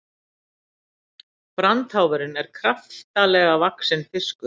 Brandháfurinn er kraftalega vaxinn fiskur.